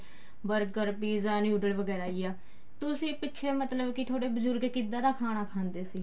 burger pizza noodle ਵਗੈਰਾ ਹੀ ਆ ਤੁਸੀਂ ਪਿੱਛੇ ਮਤਲਬ ਕੇ ਥੋਡੇ ਬਜੁਰਗ ਕਿੱਦਾਂ ਦਾ ਖਾਣਾ ਖਾਂਦੇ ਸੀ